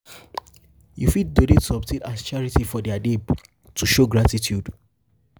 you fit donate something as charity charity for their name to show gratitude